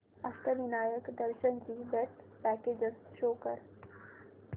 अष्टविनायक दर्शन ची best packages show कर